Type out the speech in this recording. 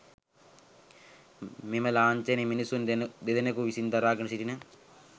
මෙම ලාංඡනය මිනිසුන් දෙදෙනකු විසින් දරාගෙන සිටින